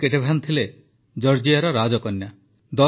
queen Ketevan ଥିଲେ ଜର୍ଜିଆର ରାଜକନ୍ୟା